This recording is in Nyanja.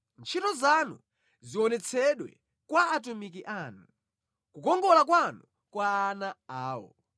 Ntchito zanu zionetsedwe kwa atumiki anu, kukongola kwanu kwa ana awo.